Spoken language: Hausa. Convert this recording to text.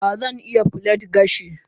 a, Zan iya plait gashi.